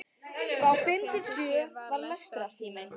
Frá fimm til sjö var lestrartími.